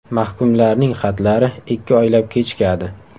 Mahkumlarning xatlari ikki oylab kechikadi .